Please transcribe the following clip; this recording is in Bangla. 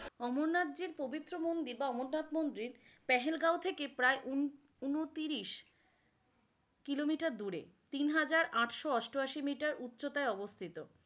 অমর-নাথ যে প্রবিত্র মন্দির বা অমতাত মন্দির প্যাসল গ্যাও থেকে প্রায় উন উনত্রিশ Kilometer দূরে তিন হাজার আটশো আস্টাআশি Meter উচ্চতায় আবস্থিত।